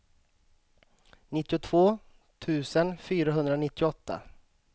nittiotvå tusen fyrahundranittioåtta